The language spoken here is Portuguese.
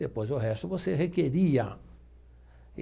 Depois, o resto, você requeria.